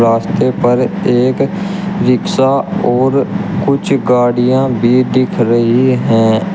रास्ते पर एक रिक्शा और कुछ गाड़ियां भी दिख रही है।